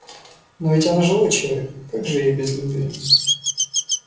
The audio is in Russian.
но ведь она живой человек как же ей без любви